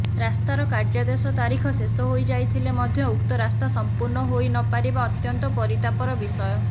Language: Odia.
ରାସ୍ତାର କାର୍ଯ୍ୟାଦେଶ ତାରିଖ ଶେଷହୋଇ ଯାଇଥିଲେ ମଧ୍ୟ ଉକ୍ତ ରାସ୍ତା ସମ୍ପୂର୍ଣ୍ଣ ହୋଇ ନପାରିବା ଅତ୍ୟନ୍ତ ପରିତାପର ବିଷୟ